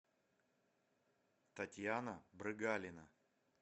татьяна брыгалина